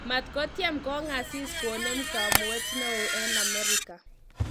Maat kotiem kong'asis konem kamuet neo eng Amerika